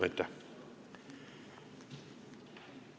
Aitäh!